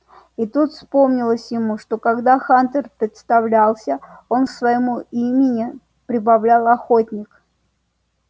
и тут вспомнилось ему что когда хантер представлялся он к своему имени прибавил охотник